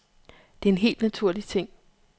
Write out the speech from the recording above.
Det er en helt naturlig ting.